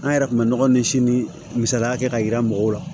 An yɛrɛ kun bɛ nɔgɔ ni si ni misaliya kɛ ka yira mɔgɔw la